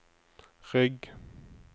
rygg